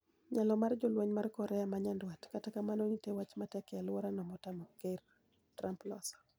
Nyalo mar jolweny mar Korea ma Nyandwat. kata kamano ntie wach matek e aluora no motamo ker Trump loso.